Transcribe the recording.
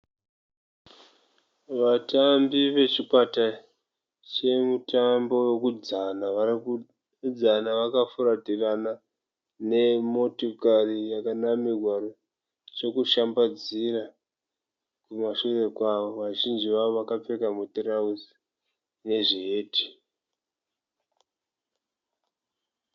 Vatambi vechikwata chemutambo wekudzana varikudzana vakafuratirana nemotokari yakanamirwa chekushambadzira kumashure kwayo. Vazhinji vavo vakapfeka mutirauzi nezviheti.